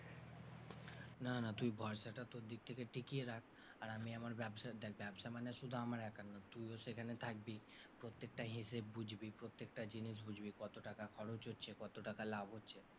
না না তুই ভরসাটা তোর দিক থেকে টিকিয়ে রাখ আর আমি আমার ব্যবসার, দেখ ব্যবসা মানে শুধু আমার একার না তুইও সেখানে থাকবি প্রত্যেকটা হিসাব বুঝবি, প্রত্যেকটা জিনিস বুঝবি, কত টাকা খরচ হচ্ছে, কত টাকা লাভ হচ্ছে।